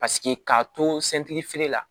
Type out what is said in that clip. Paseke k'a to la